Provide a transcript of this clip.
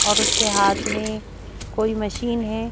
और उसके हाथ में कोई मशीन है।